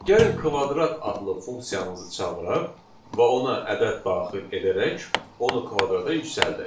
Gəlin kvadrat adlı funksiyamızı çağıraq və ona ədəd daxil edərək onu kvadrata yüksəldək.